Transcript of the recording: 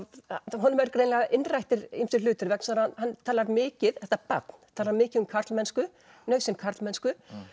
honum eru greinilega innrættir ýmsir hlutir vegna þess að hann talar mikið þetta barn talar mikið um karlmennsku nauðsyn karlmennsku